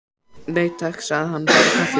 Nei, takk, sagði hann, bara kaffi.